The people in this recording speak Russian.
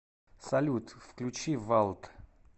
салют включи валд